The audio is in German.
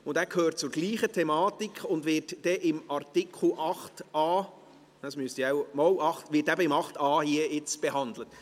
Dieser gehört zur selben Thematik und wird dann beim Artikel 8a behandelt.